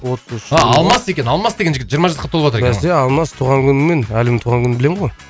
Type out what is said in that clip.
алмас екен алмас деген жігіт жиырма жасқа толыватыр екен ғой бәсе алмас туған күніңмен әлімнің туған күнін білемін ғой